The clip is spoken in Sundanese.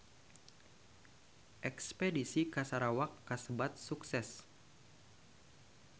Espedisi ka Sarawak kasebat sukses